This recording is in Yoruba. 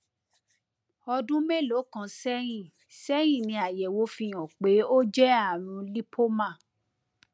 ọdún mélòó kan sẹyìn sẹyìn ni àyẹwò fi hàn pé ó jẹ ààrùn lípómà